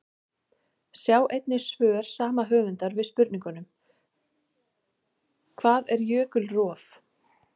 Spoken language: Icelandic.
Sjá einnig svör sama höfundar við spurningunum: Hvað er jökulrof?